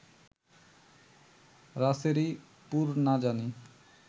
রাসেরি পুর- না জানি